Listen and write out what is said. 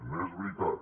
no és veritat